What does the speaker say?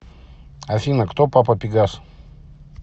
афина кто папа пегас